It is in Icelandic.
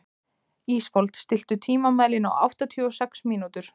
Ísfold, stilltu tímamælinn á áttatíu og sex mínútur.